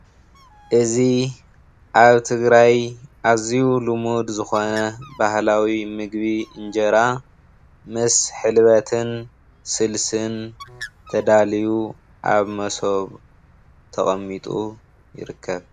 እዚ አብ ትግራይ አዝዩ ልሙድ ዝኾነ ባህላዊ ምግቢ እንጀራ ምስ ሕልበትን ስልስን ተዳልዪ አብ መሶብ ተቀሚጡ ይርከብ።